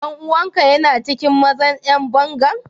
Dan uwan ka yana cikin mazan yan bangan?